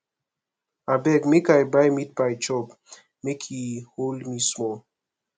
abeg make i buy meatpie chop make e hold me small